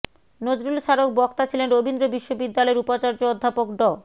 নজরুল স্বারক বক্তা ছিলেন রবীন্দ্র বিশ্ববিদ্যালয়ের উপাচার্য অধ্যাপক ড